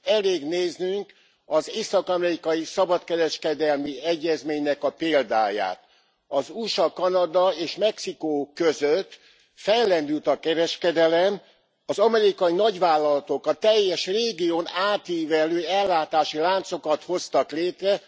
Elég néznünk az Észak amerikai Szabadkereskedelmi Egyezmény példáját az USA, Kanada és Mexikó között fellendült a kereskedelem, az amerikai nagyvállalatok a teljes régión átívelő ellátási láncokat hoztak létre.